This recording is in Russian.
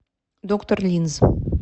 доктор линз